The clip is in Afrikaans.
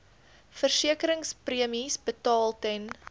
versekeringspremies betaal ten